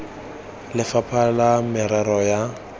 ya lefapha la merero ya